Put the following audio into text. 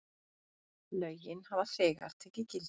Lögin hafa þegar tekið gildi.